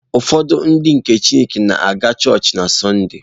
Ụfọdụ Ndị nke Kraịst na-aga chọọchị na Satọde.